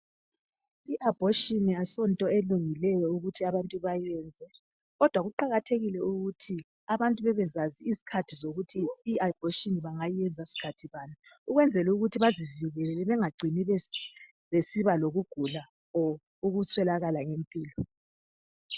I abortion asonto elungileyo ukuthi abantu bayenze kodwa kuqakathekile ukuthi abantu bebezazi izikhathi zokuthi i abortion bangayiyenza sikhathi bani ukwenzela ukuthi bazivikele bengagcini besiba lokugula or ukuswelakala kwempilo.